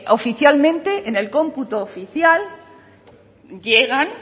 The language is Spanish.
oficialmente en el cómputo oficial llegan